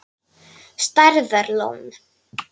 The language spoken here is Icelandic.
Stærðar lón.